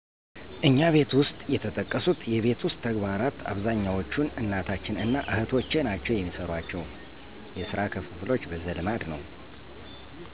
እኛ ቤተሰብ ውሰጥ የተጠቀሱት የቤት ውስጥ ተግባራት አብዛኛዎቹን እናታችን እና እህቶቻችን ናቸው የሚሰሯቸው። የስራ ክፍሎች በዘልማድ ነዉ።